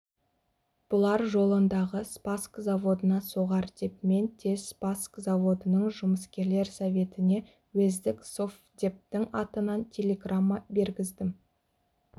бұлар жолындағы спасск заводына соғар деп мен тез спасск заводының жұмыскерлер советіне уездік совдептің атынан телеграмма бергіздім